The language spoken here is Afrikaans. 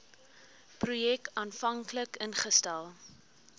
projek aanvanklik ingestel